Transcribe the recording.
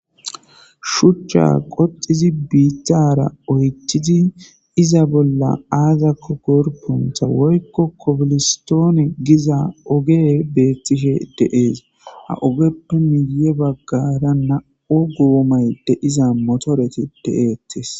Shuuchcha qoxxidi biitara oyththidi iza bolla aazakko gorppeto woykko kobilistoone giza oge beetishe de7ees. Ha ogeppene ya bagara na7u goomay de7iza motorethi beetees.